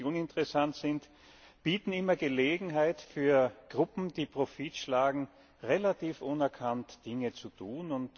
Und Dinge, die uninteressant sind, bieten immer Gelegenheit für Gruppen, die Profit schlagen, relativ unerkannt Dinge zu tun.